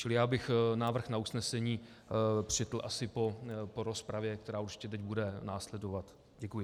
Čili já bych návrh na usnesení přečetl asi po rozpravě, která určitě teď bude následovat. Děkuji.